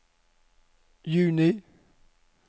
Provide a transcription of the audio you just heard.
juni